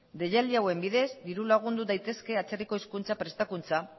deialdi hauen bidez dirulagundu daitezke atzerriko hizkuntza prestakuntza